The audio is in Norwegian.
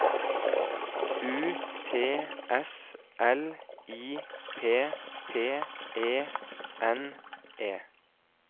U T S L I P P E N E